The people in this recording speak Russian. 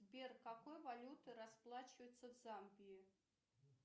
сбер какой валютой расплачиваются в замбии